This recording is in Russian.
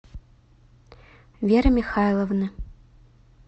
веры михайловны